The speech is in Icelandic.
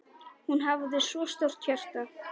Hún hafði svo stórt hjarta.